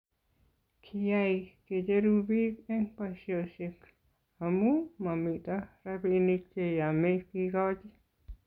kiyai kecheru biik eng' boisiosiek amu mamito robinik che yamei kekochi